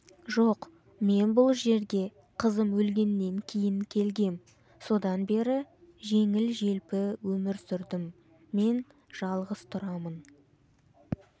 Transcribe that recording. жоқ мен бұл жерге қызым өлгеннен кейін келгем содан бері жеңіл-желпі өмір сүрдім мен жалғыз тұрамын